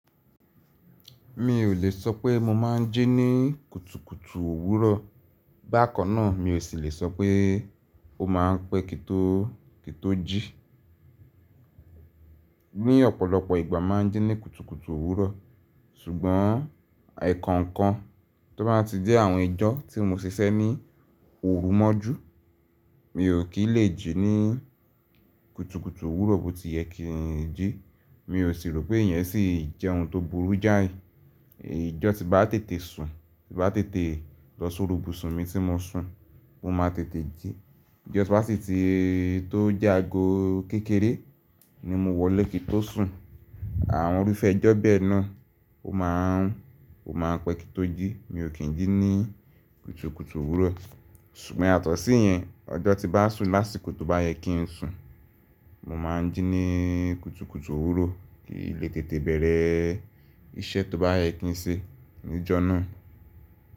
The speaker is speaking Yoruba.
Mi ò le sọ pé mo máa ń jí ní kùtùkùtù òwúrọ̀, bákan náà mi ò sì le sọ pé ó máa ń pẹ́ kí tó, kí tó jí. Ni ọ̀pọ̀lọpọ̀ ìgbà máa ń jí ní kùtùkùtù òwúrọ̀, ṣùgbọ́n ẹ̀ẹ̀kan kan tó bá ti jẹ́ àwọn ẹjọ́ tí mo ṣe sẹ́ ní òru mọ́jú mi ò kí lè jí ní kùtùkùtù òwúrọ̀ bó ti yẹ kí n jí, mi ò sì rò pé ìyẹn sì jẹ́ ohun tó burú jáì. Eyi ijó tí bá tètè sùn, tí bá tètè lọ sórí ibùsùn mi tí mo sùn, mo máa tètè jí. Ijó tí bá sì ti tó jagun kékeré ni mo wọlé kí to sùn, àwọn orí fẹ ijó bẹ́ẹ̀ náà ó máa ń, ó máa ń pẹ́ kí tó jí, mi ò kín jí ní kùtùkùtù òwúrọ̀. Ṣùgbọ́n yàtò si ìyẹn, ọjọ́ tí bá sùn lásìkò tó bá yẹ kí n sùn, mo máa ń jí ní kùtùkùtù òwúrọ̀ kí lè tètè bẹ̀rẹ̀ iṣẹ́ tó bá yẹ kí n ṣe ní ọjọ́ náà.